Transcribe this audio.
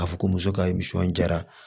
K'a fɔ ko muso ka nisɔndiya